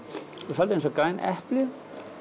svolítið eins og græn epli